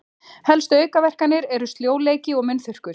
Helstu aukaverkanir eru sljóleiki og munnþurrkur.